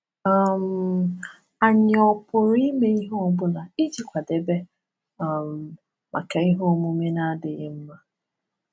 um Anyị ọ̀ pụrụ ime ihe ọ bụla iji kwadebe um maka ihe omume na-adịghị mma?